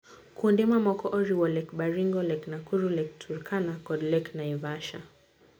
Kuonde mamoko oriwo Lake Baringo, Lake Nakuru, Lake Turkana kod Lake Naivasha.